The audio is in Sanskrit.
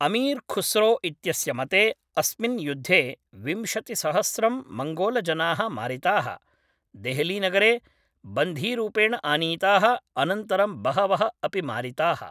अमीर् खुस्रो इत्यस्य मते अस्मिन् युद्धे विंशतिसहस्रं मङ्गोलजनाः मारिताः, देहलीनगरे बन्धीरूपेण आनीताः अनन्तरं बहवः अपि मारिताः।